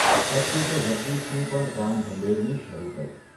અચ્યુતે જગદીશની પણ કાન ભંભેરણી શરૂ કરી.